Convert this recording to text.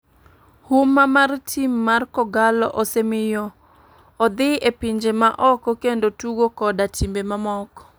Huma mar tim mar kogalo osemiyo odhi e pinje ma oko kendo tugo koda timbe mamoko.